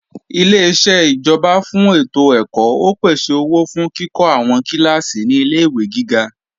Ileṣẹ́ ìjọba fún ètò ẹ̀kọ́ ó pèsè owó fún kíkọ́ àwọn kíláàsì ní ilé-ìwé gíga